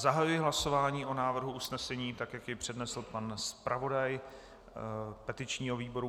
Zahajuji hlasování o návrhu usnesení, tak jak jej přednesl pan zpravodaj petičního výboru.